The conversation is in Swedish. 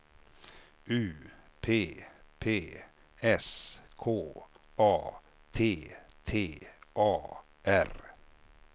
U P P S K A T T A R